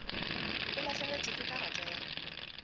o lahlegetšwe ke karata ya